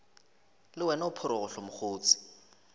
le wena o phorogohlo mokgotse